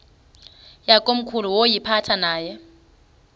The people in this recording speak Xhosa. yakomkhulu woyiphatha aye